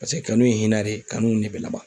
Paseke kanu ye hinɛ de ye kanu de be laban.